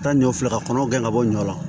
Taa ɲɔ filɛ ka kɔnɔ gɛn ka bɔ ɲɔ la